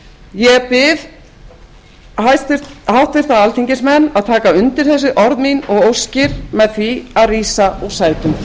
ég bið háttvirta alþingismenn að taka undir þessi orð bið og óskir með því að rísa úr sætum